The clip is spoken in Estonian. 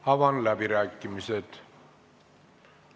Avan läbirääkimised.